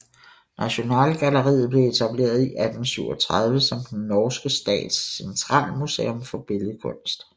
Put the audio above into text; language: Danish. Nasjonalgalleriet blev etableret i 1837 som Den norske stats centralmuseum for billedkunst